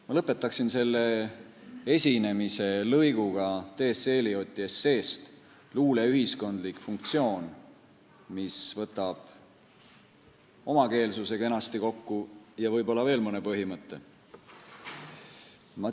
Ma lõpetan oma esinemise lõiguga T. S. Elioti esseest "Luule ühiskondlik funktsioon", mis võtab kenasti kokku omakeelsuse ja võib-olla veel mõne põhimõtte.